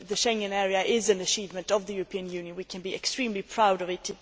The Schengen area is an achievement of the European Union we can be extremely proud of it.